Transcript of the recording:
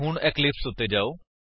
ਹੁਣ ਇਕਲਿਪਸ ਉੱਤੇ ਜਾਓ